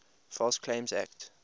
false claims act